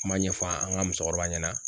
Kuma ɲɛfɔ an ka musokɔrɔba ɲɛna